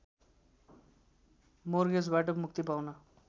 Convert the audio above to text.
मोर्गेजबाट मुक्ति पाउन